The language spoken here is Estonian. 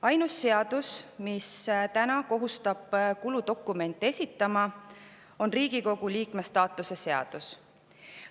Ainus seadus, mis kohustab kuludokumente esitama, on Riigikogu liikme staatuse seadus.